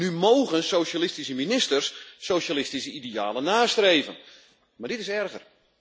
Nu mogen socialistische ministers socialistische idealen nastreven, maar dit is erger.